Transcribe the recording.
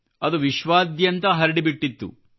ಅದು ವಿಶ್ವಾದ್ಯಂತ ಹರಡಿಬಿಟ್ಟಿತ್ತು